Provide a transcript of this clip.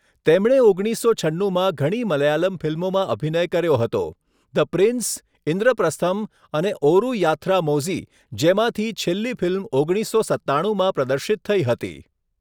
તેમણે ઓગણીસસો છન્નુમાં ઘણી મલયાલમ ફિલ્મોમાં અભિનય કર્યો હતો. ધ પ્રિન્સ, ઇન્દ્રપ્રસ્થમ અને ઓરુ યાથ્રામોઝી, જેમાંથી છેલ્લી ફિલ્મ ઓગણીસસો સત્તાણુંમાં પ્રદર્શિત થઈ હતી.